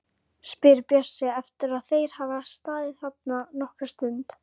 spyr Bjössi eftir að þeir hafa staðið þarna nokkra stund.